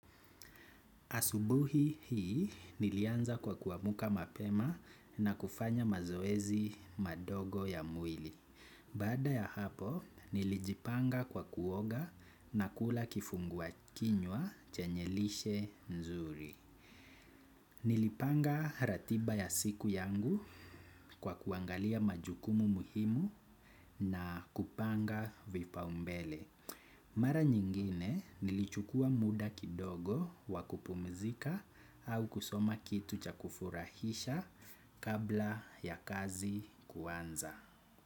Asubuhi hii, nilianza kwa kuamuka mapema na kufanya mazoezi madogo ya mwili. Baada ya hapo, nilijipanga kwa kuoga na kula kifungua kinywa chenye lishe nzuri. Nilipanga ratiba ya siku yangu kwa kuangalia majukumu muhimu na kupanga vipaumbele. Mara nyingine nilichukua muda kidogo wa kupumizika au kusoma kitu cha kufurahisha kabla ya kazi kuanza.